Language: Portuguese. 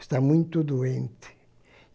Está muito doente.